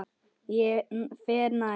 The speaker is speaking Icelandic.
Ég fer nær.